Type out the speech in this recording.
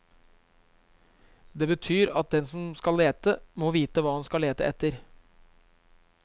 Det betyr at den som skal lete, må vite hva han skal lete etter.